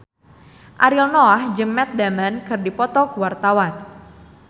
Ariel Noah jeung Matt Damon keur dipoto ku wartawan